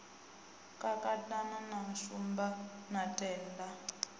kakatana na shumba na tendai